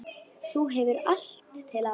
Þú hefur allt til alls.